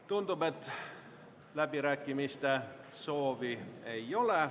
Tundub, et läbirääkimiste soovi ei ole.